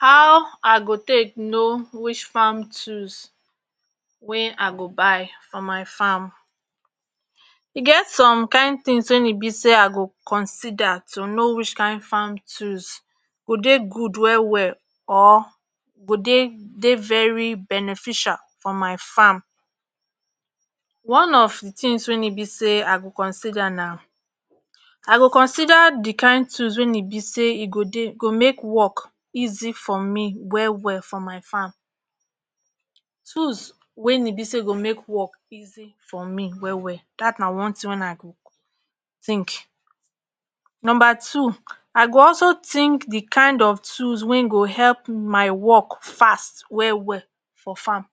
How I go take know which farm tools wey I go buy for my farm. E get some kind things wey e be sey I go consider to know which kind farm tools go dey good well well or go dey very beneficial for my farm. One of de things wey need sey I go consider na; I go consider de kind tool wey need be sey e go dey e go make work easy for me well well for my farm, tools wey need be sey go make work easy for me well well dat na one thing wey I bin think, number two I go also think de kind tool wey go help my work fast well well for farm.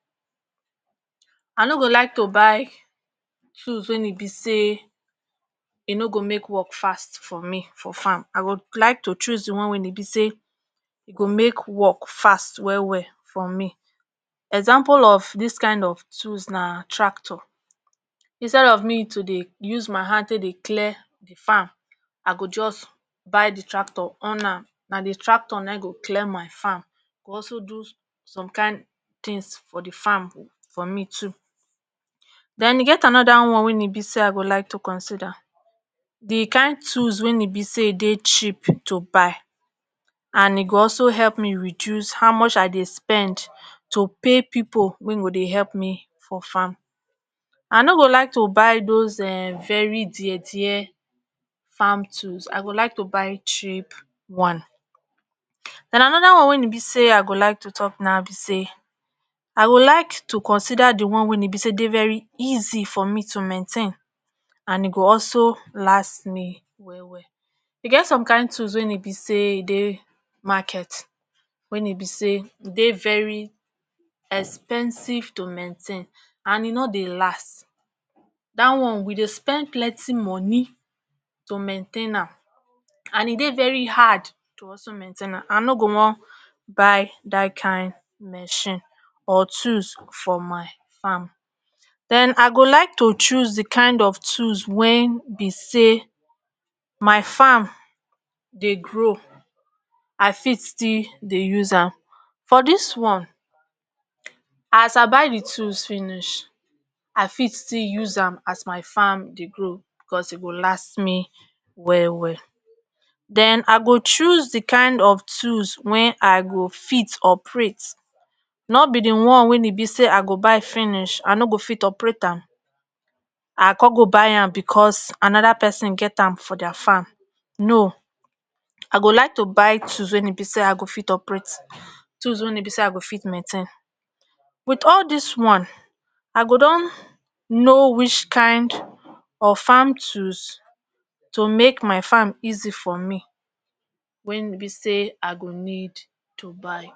I no go like to buy tool wey need be sey e no go make work fast for me for farm I go like to choose de one wey need be sey e go make work fast well well for me example of dis kind of tool na tractor, instead of me to dey use my hand take dey clear de farm I go just buy de tractor on am, na de tractor na im go clear my farm. I go also do some kind things for de farm for me too. Den e get anoda one wey need be sey for me to consider de kind tool wey need be sey cheap to buy and e go also help me reduce how much I dey spend to pay pipu wey go dey help me for farm. I no go like to buy those very dear dear farm tools I go like to buy cheap one. Anoda one wey need be sey I go like to talk about na be sey I go like to consider de one wey be sey dey very easy for me to maintain and e go also last me well well. E get some kind tool wey need be sey e dey market wey need be sey e dey very expensive to maintain and e no dey last dat one we dey spend plenty money to maintain am and e dey very hard to also maintain am, I no go wan buy dat kind machine or tools for my farm. Den I go like to choose de kind of tool when be sey my farm dey grow I fit still dey use am, for dis one as I buy de tool finish I fit still use am as my farm dey grow because e go last me well well, den I go choose de kind of tools wey I go fit operate no be de one wey need sey I go buy finish I no go fit operate am, I con dey buy am because anoda persin get am for der farm no, I go like to buy tools wey need be sey I go buy tool wey need be sey I go fit operate, tools wey need be sey I go fit maintain. With all dis one I go don know which kind of farm tool to make my farm easy for me wey need be sey I go need to buy